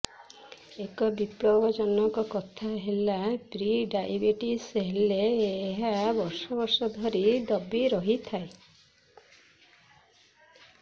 ଏକ ବିପଜ୍ଜନକ କଥା ହେଲା ପ୍ରିଡାଇବେଟିସ୍ ହେଲେ ଏହା ବର୍ଷ ବର୍ଷ ଧରି ଦବି ରହିଥାଏ